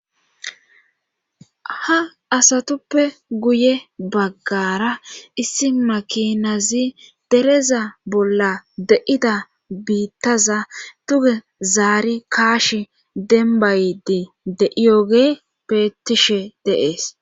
ha asatuppe guye baggara issi makinazi dereza bolla de7ida biittaza tuge zaari kaash dembaydi de7iyoge peetishe deees